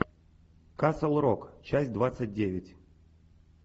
касл рок часть двадцать девять